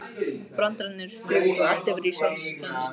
Brandararnir fuku og allir voru í sólskinsskapi.